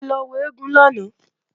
A lọ wo eégún lánàá